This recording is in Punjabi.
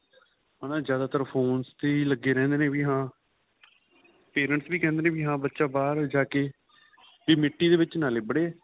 ਹੈਨਾ ਜਿਆਦਾਤਰ phones ਤੇ ਹੀ ਲੱਗੇ ਰਹਿੰਦੇ ਨੇ ਵੀ ਹਾਂ pa resents ਵੀ ਕਹਿੰਦੇ ਨੇ ਹਾਂ ਬੱਚਾ ਬਹਾਰ ਜਾਕੇ ਮਿੱਟੀ ਦੇ ਵਿੱਚ ਲਿੱਭੜੇ